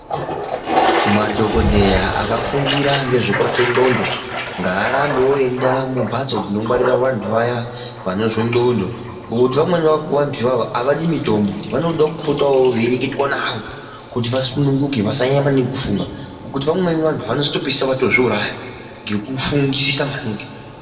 Madhokodheya akafundira ngezvekurape ndxondo ngaarambewo eienda mumbatso dzinongwarirwa vantu vaya vanozwe ndxondo, Ngekuti vamweni vantu ivava havadi mitombo. Vanodo kupotawo veireketwa navo kuti vasununguke, vasanyanya maningi kufunga, ngekuti vamweni vantu vanotopedzisira vatozviuraya ngekufungisisa maningi.